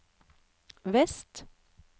vest